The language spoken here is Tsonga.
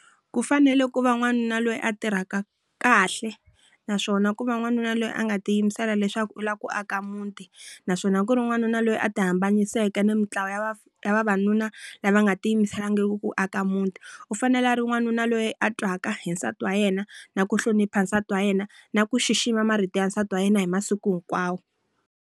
Ku fanele ku va n'wanuna loyi a tirhaka kahle, naswona ku va n'wanuna loyi a nga tiyimisela leswaku u lava ku aka muti naswona ku ri n'wanuna loyi a ti hambaniseke ni mintlawa ya ya vavanuna lava nga ti yimiselangiki ku aka muti. U fanele a ri wanuna loyi a twaka hi nsati wa yena, na ku hlonipha nsati wa yena, na ku xixima marito ya nsati wa yena hi masiku hinkwawo.